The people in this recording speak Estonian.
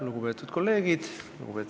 Lugupeetud kolleegid!